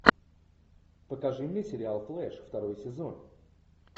покажи мне сериал флэш второй сезон